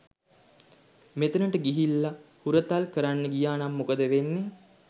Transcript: මෙතනට ගිහිල්ල හුරතල් කරන්න ගියානම් මොකද වෙන්නේ?